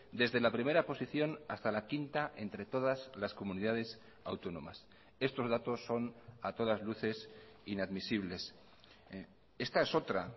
desde la primera posición hasta la quinta entre todas las comunidades autónomas estos datos son a todas luces inadmisibles esta es otra